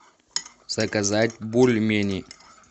заказать бульмени